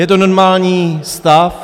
Je to normální stav.